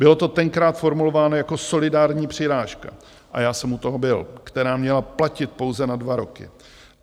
Bylo to tenkrát formulováno jako solidární přirážka, a já jsem u toho byl, která měla platit pouze na dva roky.